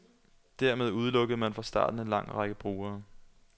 Dermed udelukkede man fra starten en lang række brugere.